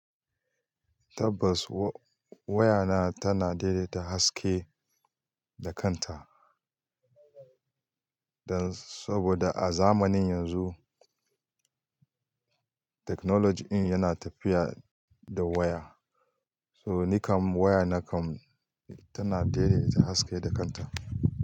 Tabbas wa-waya na tana daidaita haske da kanta, dan saboda a zamanin yanzu technology in yana tafiya da waya. So nikan waya nakan tana daidaita haske da kanta.